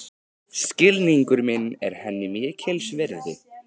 Skilningur minn er henni mikils virði.